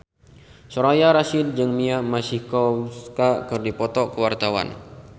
Soraya Rasyid jeung Mia Masikowska keur dipoto ku wartawan